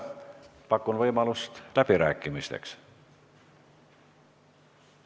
Pakun võimalust läbi rääkida.